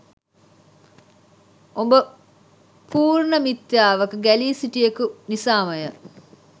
ඔබ පූර්ණ මිත්‍යාවක ගැලී සිටියෙකු නිසාමය.